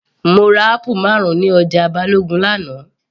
Mo ra apple marun ní ọjà Balogun l'ana